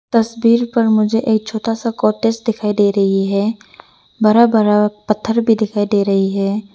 तस्वीर पर मुझे एक छोटा सा कॉटेज दिखाई दे रही है बरा बरा पत्थर भी दिखाई दे रही है।